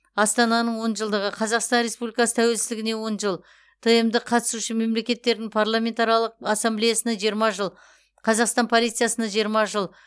астананың он жылдығы қазақстан республикасы тәуелсіздігіне он жыл тмд қатысушы мемлекеттердің парламентаралық ассамблеясына жиырма жыл қазақстан полициясына жиырма жыл